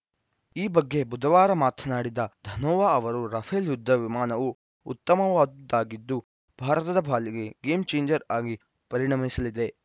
ಈ ಬಗ್ಗೆ ಬುಧವಾರ ಮಾತನಾಡಿದ ಧನೋವಾ ಅವರು ರಫೇಲ್‌ ಯುದ್ಧ ವಿಮಾನವು ಉತ್ತಮವಾದುದಾಗಿದ್ದು ಭಾರತದ ಪಾಲಿಗೆ ಗೇಮ್‌ಚೇಂಜರ್‌ ಆಗಿ ಪರಿಣಮಿಸಲಿದೆ